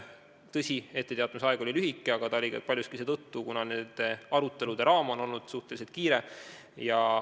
Tõsi, etteteatamisaeg oli lühike, aga paljuski seetõttu, et arutelude ajaline raam on olnud suhteliselt kiire.